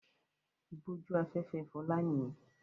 Ìbójú-afẹ́fẹ́ Fọlá nìyẹn.